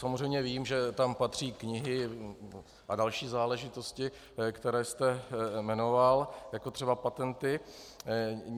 Samozřejmě vím, že tam patří knihy a další záležitosti, které jste jmenoval, jako třeba patenty.